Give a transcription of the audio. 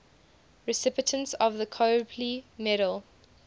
recipients of the copley medal